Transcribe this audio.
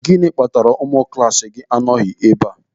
Gịnị kpatara na ụmụ klaasị gị anọghị ebe a?